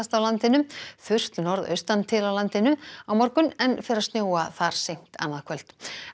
á landinu þurrt norðaustan til á landinu á morgun en fer að snjóa þar seint annað kvöld